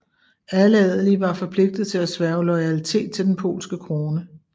Alle adelige var forpligtet til at sværge loyalitet til den polske krone